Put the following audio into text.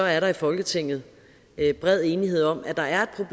er der i folketinget bred enighed om at der er